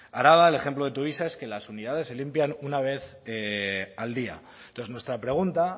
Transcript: araba el ejemplo de tuvisa es que las unidades se limpian una vez al día entonces nuestra pregunta